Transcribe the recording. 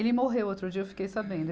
Ele morreu outro dia, eu fiquei sabendo.